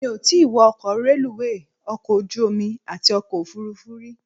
Mi ò tí wọ ọkọ̀ reluwé, ọkọ̀ ojú omi àti ọkọ̀ òfuurufú rí.